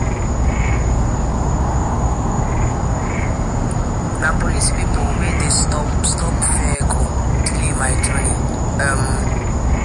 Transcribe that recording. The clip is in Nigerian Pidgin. Na police pipo wey dey stop-stop vehicle delay my journey.[um]